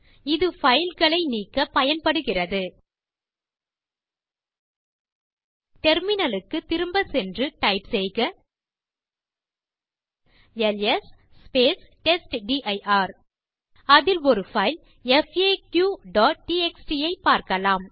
இது பைல் களை நீக்கப் பயன்படுகிறது டெர்மினல் க்கு திரும்பச் சென்று டைப் செய்க எல்எஸ் டெஸ்ட்டிர் அதில் ஒரு பைல் faqடிஎக்ஸ்டி ஐப் பார்க்கலாம்